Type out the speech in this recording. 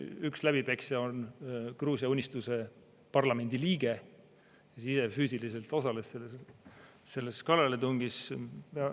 Üks läbipeksja on Gruusia Unistuse parlamendiliige, ise füüsiliselt osales selles kallaletungis.